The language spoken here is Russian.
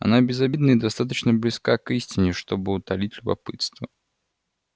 она безобидна и достаточно близка к истине чтобы утолить любопытство